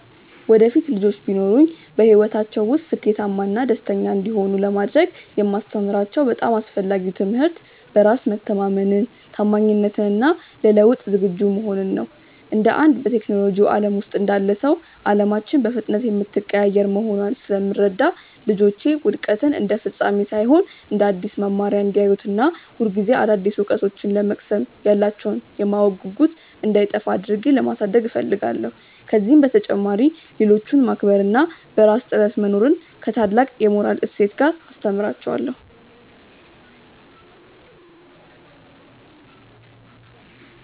ወደፊት ልጆች ቢኖሩኝ፣ በሕይወታቸው ውስጥ ስኬታማና ደስተኛ እንዲሆኑ ለማድረግ የማስተምራቸው በጣም አስፈላጊው ትምህርት በራስ መተማመንን፣ ታማኝነትን እና ለለውጥ ዝግጁ መሆንን ነው። እንደ አንድ በቴክኖሎጂው ዓለም ውስጥ እንዳለ ሰው፣ ዓለማችን በፍጥነት የምትቀያየር መሆኗን ስለምረዳ፣ ልጆቼ ውድቀትን እንደ ፍጻሜ ሳይሆን እንደ አዲስ መማሪያ እንዲያዩት እና ሁልጊዜ አዳዲስ እውቀቶችን ለመቅሰም ያላቸው የማወቅ ጉጉት እንዳይጠፋ አድርጌ ማሳደግ እፈልጋለሁ። ከዚህ በተጨማሪ፣ ሌሎችን ማክበር እና በራስ ጥረት መኖርን ከታላቅ የሞራል እሴት ጋር አስተምራቸዋለሁ።